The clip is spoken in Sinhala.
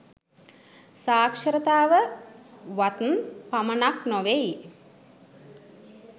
සාක්ෂර තාව වත් පමණක් නොවෙයි